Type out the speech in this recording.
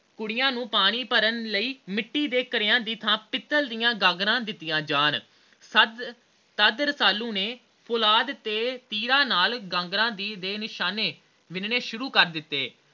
ਕੁੜੀਆਂ ਨੂੰ ਪਾਣੀ ਭਰਨ ਲਈ ਮਿੱਟੀ ਦੇ ਘੜਿਆ ਦੀ ਥਾਂ ਪਿਤਲ ਦੀਆ ਗਾਗਰਾਂ ਦਿਤੀਆਂ ਜਾਨ ਤਦ ਰਸਾਲੂ ਨੇ ਤੇ ਤੀਰਾਂ ਨਾਲ ਗਾਗਰਾਂ ਦੇ ਨਿਸ਼ਾਨੇ ਵਿਨਣੇ ਸ਼ੁਰੂ ਕਰ ਦਿੱਤੇ